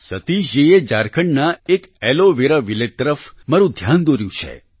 સતીજ જીએ ઝારખંડના એક એલો વેરા વિલેજ તરફ મારું ધ્યાન દોર્યું છે